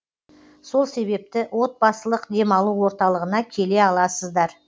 сол себепті отбасылық демалу орталығына келе аласыздар